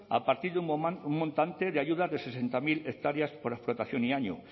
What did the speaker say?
a partir de un montante de ayuda de sesenta mil hectáreas por explotación y año